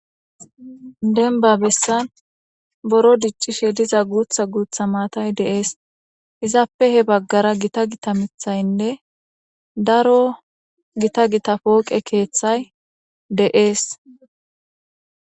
Demba bessan buro dicishe diza guutha guutha maatay de'es. Izappe he bagara Gita Gita mithaynne daro Gita Gita pooqe keethay de'es.